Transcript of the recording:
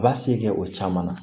A b'a se kɛ o caman na